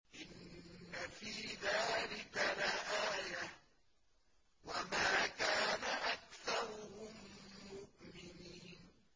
إِنَّ فِي ذَٰلِكَ لَآيَةً ۖ وَمَا كَانَ أَكْثَرُهُم مُّؤْمِنِينَ